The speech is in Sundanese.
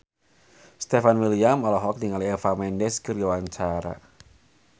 Stefan William olohok ningali Eva Mendes keur diwawancara